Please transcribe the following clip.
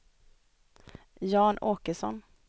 Jan Åkesson